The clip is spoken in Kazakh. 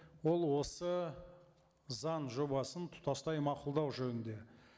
ол осы заң жобасын тұтастай мақұлдау жөнінде